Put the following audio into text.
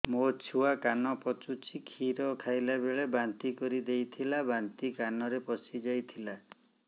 ମୋ ଛୁଆ କାନ ପଚୁଛି କ୍ଷୀର ଖାଇଲାବେଳେ ବାନ୍ତି କରି ଦେଇଥିଲା ବାନ୍ତି କାନରେ ପଶିଯାଇ ଥିଲା